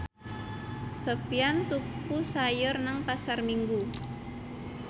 Sofyan tuku sayur nang Pasar Minggu